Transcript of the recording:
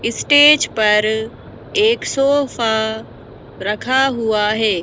Stage पर एक sofa रखा हुआ है।